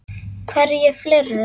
Hverjir fleiri?